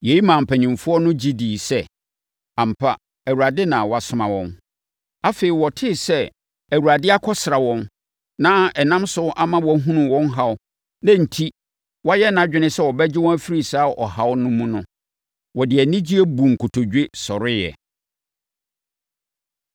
Yei maa mpanimfoɔ no gye dii sɛ, ampa, Awurade na wasoma wɔn. Afei, wɔtee sɛ Awurade akɔsra wɔn, na ɛnam so ama wahunu wɔn haw, na enti wayɛ nʼadwene sɛ ɔbɛgye wɔn afiri saa ɔhaw no mu no, wɔde anigyeɛ buu nkotodwe sɔreeɛ.